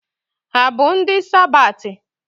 Ha bụ ndị Sabathi?